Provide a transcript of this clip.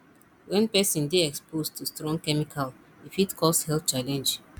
when person dey exposed to strong chemical e fit cause health challenge